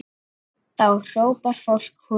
Þá hrópar fólk húrra.